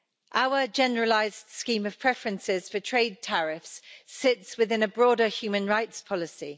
Our Generalised Scheme of Preferences for Trade Tariffs sits within a broader human rights policy.